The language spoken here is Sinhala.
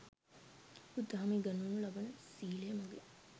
බුදු දහමේ උගන්වනු ලබන සීලය මගින්